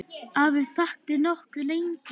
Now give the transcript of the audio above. Ari þagði nokkuð lengi.